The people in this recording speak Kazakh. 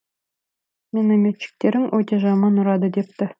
минометчиктерің өте жаман ұрады депті